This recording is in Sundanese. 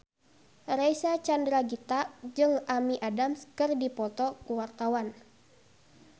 Reysa Chandragitta jeung Amy Adams keur dipoto ku wartawan